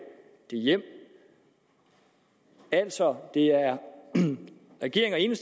den hjem altså det er regeringen